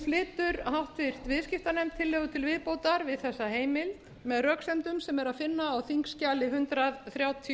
flytur háttvirtur viðskiptanefnd tillögu til viðbótar við þessa heimild með röksemdum sem er að finna á þingskjali hundrað þrjátíu